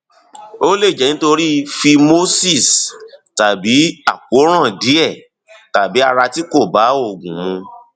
ó lè jẹ nítorí phimosis tàbí àkóràn díẹ tàbí ara tí kò bá oògùn mu